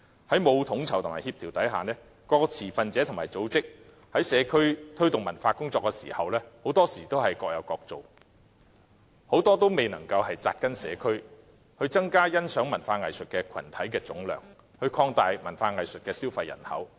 在沒有統籌和協調下，各個持份者和組織在社區推動文化工作時，很多時候都是各有各做，很多也未能扎根社區，增加欣賞文化藝術群體的總量，擴大文化藝術的消費人口。